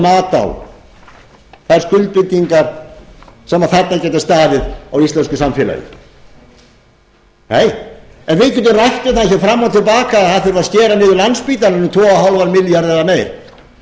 mat á þær skuldbindingar sem þarna getur staðið á íslensku samfélagi nei en við getum rætt um það fram og til baka að skera þurfi niður landspítalann um tvö og hálfan milljarð eða meira en hvort þessir